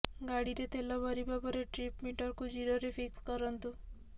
ଗାଡିରେ ତେଲ ଭରିବା ପରେ ଟ୍ରିପ୍ ମିଟରକୁ ଜିରୋରେ ଫିକ୍ସ କରନ୍ତୁ